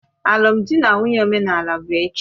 Alụmdi na nwunye omenala bụ echi